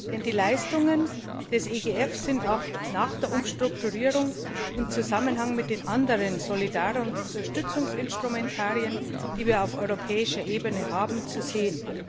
Denn die Leistungen des EGF sind auch nach der Umstrukturierung im Zusammenhang mit den anderen Solidar und Unterstützungsinstrumentarien, die wir auf europäischer Ebene haben, zu sehen.